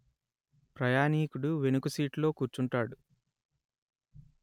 ప్రయాణీకుడు వెనుక సీటులో కూర్చుంటాడు